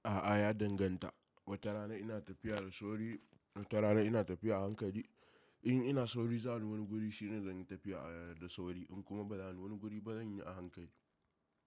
A'a ya danganta. Wata rana ina tafiya da sauri, wata rana ina tafiya a hankali. In ina sauri za ni wani guri shine zan yi tafiya da sauri in kuma ba za ni wani guri ba zan yi a hankali.